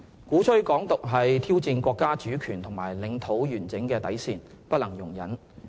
鼓吹"港獨"是挑戰國家主權和領土完整的底線，不能容忍。